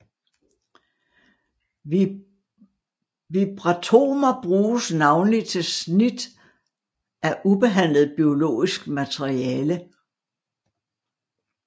Vibratomer bruges navnlig til snit af ubehandlet biologisk materiale